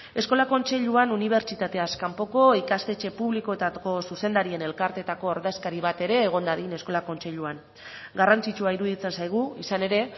eskola kontseiluan unibertsitateaz kanpoko ikastetxe publikoetako zuzendarien elkarteetako ordezkari bat ere egon dadin eskola kontseiluan garrantzitsua iruditzen zaigu izan ere